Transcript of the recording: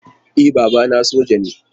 E, babana soja ne.